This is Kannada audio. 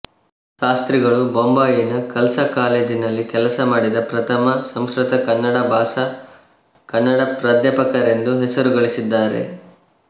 ಶಾಸ್ತ್ರಿಗಳು ಬೊಂಬಾಯಿನ ಖಲ್ಸಾಕಾಲೇಜಿನಲ್ಲಿ ಕೆಲಸಮಾಡಿದ ಪ್ರಥಮ ಸಂಸ್ಕೃತಕನ್ನಡ ಭಾಷಾ ಕನ್ನಡ ಪ್ರಾಧ್ಯಾಪಕರೆಂದು ಹೆಸರುಗಳಿಸಿದ್ದಾರೆ